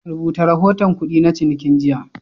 Rubuta rahoton kudi na cininki jiya.